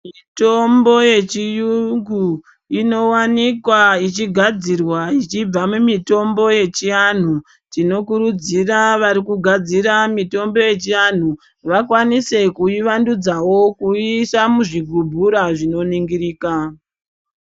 Mitombo yechiyungu inowanikwa ichigadzirwa ichibva mumitombo yechianhu tinokurudzira varikugadzira mitombo yechivantu vakwanise kuiyi vadhudzawo kuiisa muzvigubhura zvakanoningirika